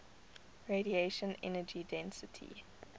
radiation energy density